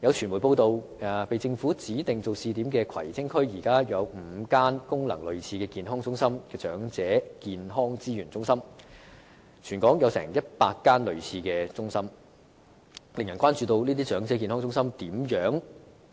有傳媒報道，被政府指定為試點的葵青區，現時便有5間功能類似健康中心的長者健康資源中心，全港則共有100間類似中心，令人關注到這些長者健康中心的